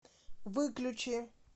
выключи